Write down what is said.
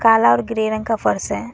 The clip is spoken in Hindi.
काला और ग्रे रंग का फर्श है।